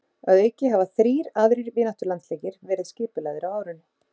Að auki hafa þrír aðrir vináttulandsleikir verið skipulagðir á árinu.